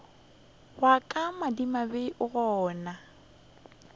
wa ka madimabe o gana